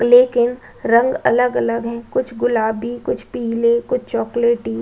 लेकिन रंग अलग-अलग हैं कुछ गुलाबी कुछ पीले कुछ चॉकलेटी --